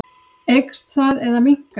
Eykst það eða minnkar?